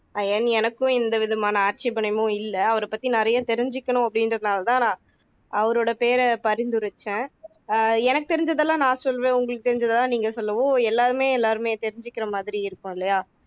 ஐயன் எனக்கும் எந்த விதமான ஆட்சேபனையுமோ இல்ல அவரை பத்தி நிறைய தெரிஞ்சுக்கணும் அப்படின்றதால தான் நான் அவரோட பேரை நான் பரிந்துரைச்சேன் ஆஹ் எனக்கு தெரிஞ்சதெல்லாம் நான் சொல்லுவேன் உங்களுக்கு தெரிஞ்சதெல்லாம் நீங்க சொல்லவும் எல்லாருமே எல்லாமே தெரிஞ்சுக்குற மாதிரி இருக்கும் இல்லையா